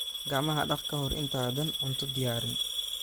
Gacmaha dhaq ka hor intaadan cunto diyaarin.